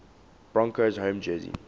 broncos home jersey